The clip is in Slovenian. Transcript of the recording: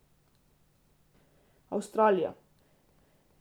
Avstralija.